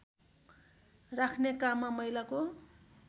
राख्ने काममा महिलाको